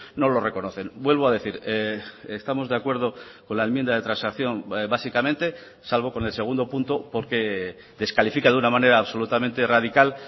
no lo reconocen vuelvo a decir estamos de acuerdo con la enmienda de transacción básicamente salvo con el segundo punto porque descalifica de una manera absolutamente radical